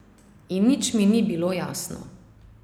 In nič mi ni bilo jasno.